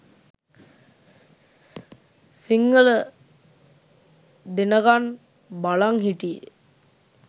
සිංහල දෙනකන් බලන් හිටියේ